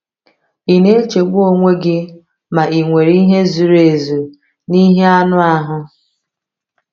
Ị na-echegbu onwe gị ma ị nwere ihe zuru ezu n’ihe anụ ahụ?